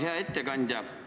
Hea ettekandja!